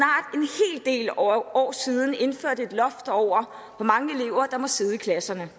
det del år siden indførte et loft over hvor mange elever der må sidde i klasserne